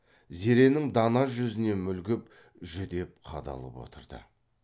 зеренің дана жүзіне мүлгіп жүдеп қадалып отырды